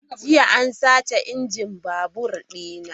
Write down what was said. .Jiya an sace injin babur dina.